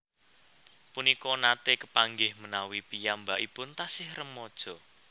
Punika nate kepanggih menawi piyambakipun tasih remaja